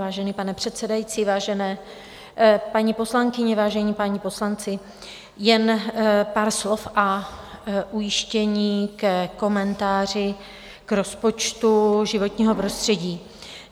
Vážený pane předsedající, vážené paní poslankyně, vážení páni poslanci, jen pár slov a ujištění ke komentáři k rozpočtu životního prostředí.